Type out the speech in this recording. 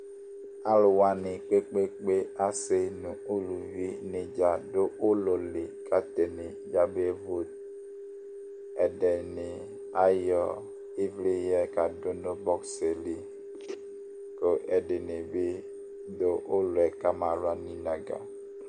Alʋ wanɩ kpe-kpe-kpe asɩ nʋ uluvi wanɩ dza dʋ ʋlɔ li kʋ atanɩ yabevot. Ɛdɩnɩ ayɔ ɩvlɩ yɛ kadʋ nʋ bɔks yɛ li kʋ ɛdɩnɩ bɩ dʋ ʋlɔ yɛ kamawla nʋ inǝgǝ.